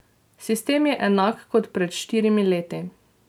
Sistem je enak kot pred štirimi leti.